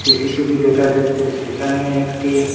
CCTV দেখা যাচ্ছে সেখানে একটি--